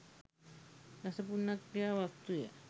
දස පුණ්‍යක්‍රියා වස්තුය.